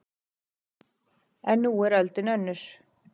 En nú er öldin önnur